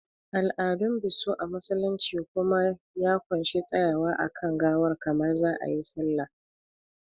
Al'adun biso a musulunci kuma ya ƙunshi tsayawa a kan gawar kamar za a yi sallah